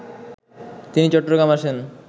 তিনি চট্টগ্রাম আসেন